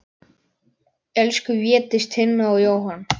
Elsku Védís, Tinna og Jóhann.